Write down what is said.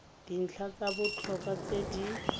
dintlha tsa botlhokwa tse di